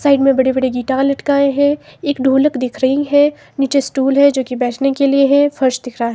Side में बड़े-बड़े guitar लटकाये हैं। एक ढोलक दिख रही है। नीचे स्टूल है जो की बैठने के लिए है। फर्श दिख रहा है।